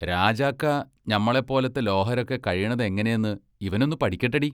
രാജാക്ക ഞമ്മളെപ്പോലത്തെ ലോഹരൊക്കെ കഴീണതെങ്ങനെന്ന് ഇവനൊന്നു പടിക്കെട്ടടി.